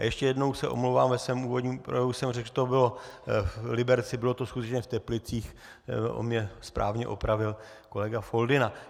A ještě jednou se omlouvám, ve svém úvodním projevu jsem řekl, že to bylo v Liberci, bylo to skutečně v Teplicích, jak mě správně opravil kolega Foldyna.